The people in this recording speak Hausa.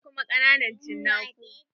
Akwai kuma ƙananan cinaku.